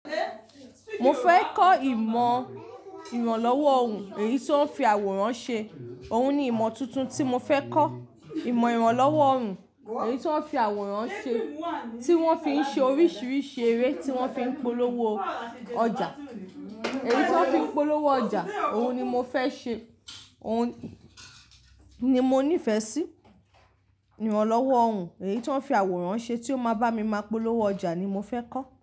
Mo fẹ́ kọ́ ìmọ̀ ìrànlọ́wọ́ ọrùn, èyí tó ń fi àwòrán ṣe. Òun ni ìmọ̀ tuntun tí mo fẹ́ kọ́. Ìmọ̀ ìrànlọ́wọ́ ọrùn, èyí ti won ń fi àwòrán ṣe, tí wọ́n fi ń ṣe oríṣiríṣi eré tí wọ́n fi ń polówó ọjà. Èyí tí wọ́n fi ń polówó ọjà, òun ni mo fẹ́ ṣe, òun ni mo nífẹ̀ẹ́ sí. Ìrànlọ́wọ́ ọrùn, èyí tó ń fi àwòrán ṣe tí ó máa bá mi máa polówó ọjà ni mo fẹ́ kọ́.